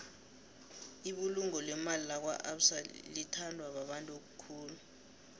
ibulungo lemali lakwaabsa litbandwa babantu khulu